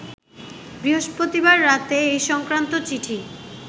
বৃহস্পতিবার রাতে এ সংক্রান্ত চিঠি